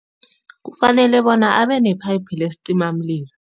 Kufanele bona abenepayiphi lesicimamlilo.